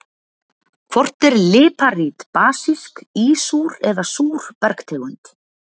Hvort er líparít basísk, ísúr eða súr bergtegund?